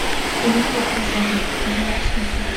лента крыжовник давай я посмотрю